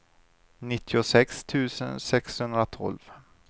nittiosex tusen sexhundratolv